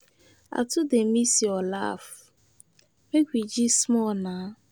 I too miss your laugh, make we dey gist small nah.